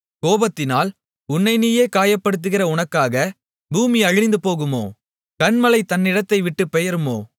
கோபத்தினால் உன்னை நீயே காயப்படுத்துகிற உனக்காக பூமி அழிந்துபோகுமோ கன்மலை தன்னிடத்தைவிட்டுப் பெயருமோ